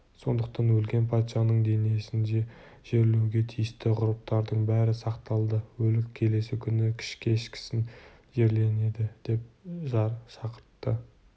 сондықтан өлген патшаның денесін жерлеуге тиісті ғұрыптардың бәрі сақталады өлік келесі күні кешкісін жерленеді деп жар шақыртты